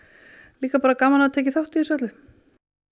líka bara gaman að hafa tekið þátt í þessu öllu